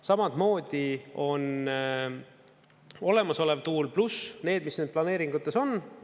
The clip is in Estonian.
Samamoodi on olemasolev tuul, pluss need, mis nüüd planeeringutes on.